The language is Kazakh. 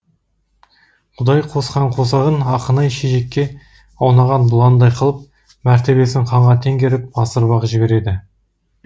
құдай қосқан қосағын ақынай шешекке аунаған бұландай қылып мәртебесін ханға теңгеріп асырып ақ жібереді